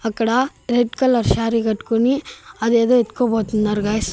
అక్కడ red colour sari కట్టుకుని అదేదో ఎత్తుకుపోతున్నారు గాయ్స్ .